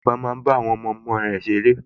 Bàbá máa ń bá àwọn ọmọọmọ ẹ̀ ṣeré